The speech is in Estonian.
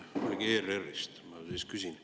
Tõukuvalt ERR-ist ma siis küsin.